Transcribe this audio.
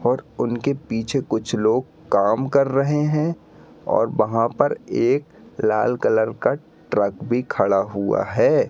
और उनके पीछे कुछ लोग काम कर रहे हैं और वहां पर एक लाल कलर का ट्रक भी खड़ा हुआ है।